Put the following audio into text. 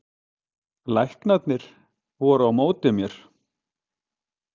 Læknarnir voru á móti mér